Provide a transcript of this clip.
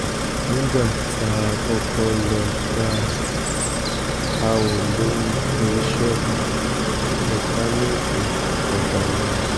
nígbà tá a kọ́kọ́ lọ́ọ́ bá a ò lóun kì í ṣọ̀lẹ mẹkáníìkì ọ̀kadà lòun